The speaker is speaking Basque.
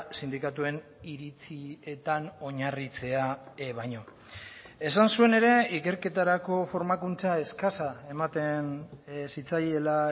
sindikatuen iritzietan oinarritzea baino esan zuen ere ikerketarako formakuntza eskasa ematen zitzaiela